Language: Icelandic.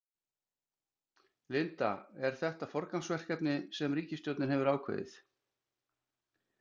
Linda, er þetta forgangsverkefni sem ríkisstjórnin hefur ákveðið?